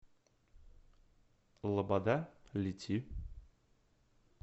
лобода лети